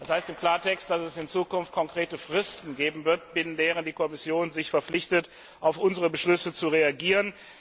Das heißt im Klartext, dass es in Zukunft konkrete Fristen geben wird, binnen derer die Kommission sich verpflichtet, auf unsere Beschlüsse zu reagieren.